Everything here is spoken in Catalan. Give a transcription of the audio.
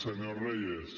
senyor reyes